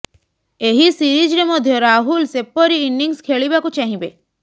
ଏହି ସିରିଜ୍ରେ ମଧ୍ୟ ରାହୁଲ ସେପରି ଇନିଂସ ଖେଳିବାକୁ ଚାହିଁବେ